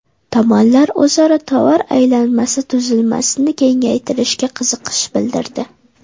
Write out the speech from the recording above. Tomonlar o‘zaro tovar aylanmasi tuzilmasini kengaytirishga qiziqish bildirdi.